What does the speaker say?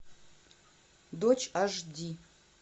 дочь аш ди